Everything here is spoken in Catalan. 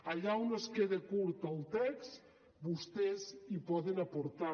allà on es quede curt el text vostès hi poden aportar